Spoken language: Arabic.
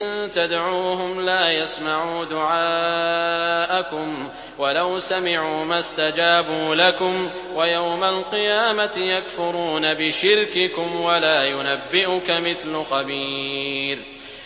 إِن تَدْعُوهُمْ لَا يَسْمَعُوا دُعَاءَكُمْ وَلَوْ سَمِعُوا مَا اسْتَجَابُوا لَكُمْ ۖ وَيَوْمَ الْقِيَامَةِ يَكْفُرُونَ بِشِرْكِكُمْ ۚ وَلَا يُنَبِّئُكَ مِثْلُ خَبِيرٍ